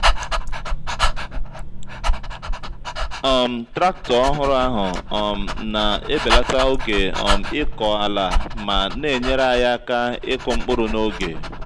um traktọ ọhụrụ ahụ um na-ebelata oge um ịkọ ala ma na-enyere anyị aka ịkụ mkpụrụ n'oge.